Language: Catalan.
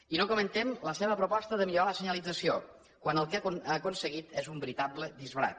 i no comentem la seva proposta de millorar la senyalització quan el que ha aconseguit és un veritable disbarat